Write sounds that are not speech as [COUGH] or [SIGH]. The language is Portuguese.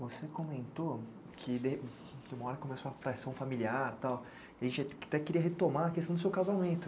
Você comentou que de, que uma hora começou a fração familiar, tal, e [UNINTELLIGIBLE] até queria retomar a questão do seu casamento.